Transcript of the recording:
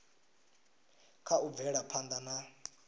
kha u bvela phanda na